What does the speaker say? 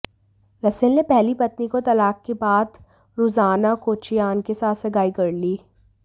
Russell ने पहली पत्नी को तलाक के बाद रुज़ाना केचियान के साथ सगाई कर ली